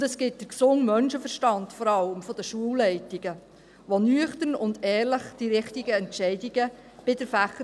Und es gibt vor allem den gesunden Menschenverstand der Schulleitungen, die bei der Fächerzuteilung nüchtern und ehrlich die richtigen Entscheidungen treffen.